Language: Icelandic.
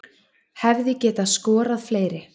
Hefði getað skorað fleiri